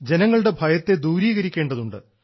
ജനങ്ങളുടെ ഭയത്തെ ദൂരീകരിക്കേണ്ടതുണ്ട്